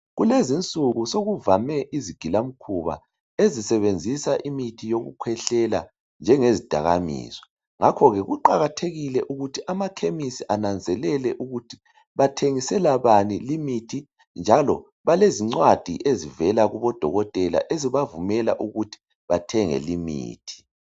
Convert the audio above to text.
Kulezinsuku sokuvame izigilamkhuba ezisebenzisa imithi yokukhwehlela njengezidakamizwa. Ngakho-ke kuqakathekile ukuthi amakhemesi ananzelele ukuthi bathengisela bani limithi njalo balezincwadi ezivela kubodokotela ezibavumela ukuba bathenge limithi.